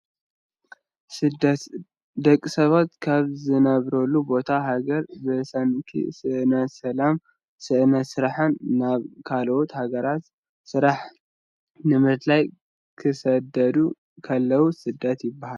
ስደት፡- ደቂ ሰባት ካብ ዝነብሩሉ ቦታን ሃገርን ብሰንኪ ስእነት ሰላምን ስእነት ስራሕን ናብ ካልኦት ሃገራት ስራሕ ንምድላይ ክስደዱ ኩለው ስደት ይባሃል፡፡